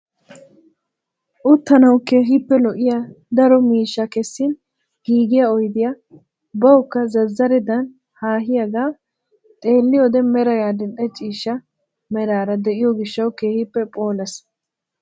Uttanawu keehippe lo"iyaa daro miishshaa keessin giigiyaa oydiyaa bawukka zazzaredan hahiyaaga xeelliyoode meray adil'e ciishsha meraara de'iyoo gishshawu keehi phoolees!